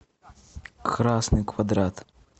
красный квадрат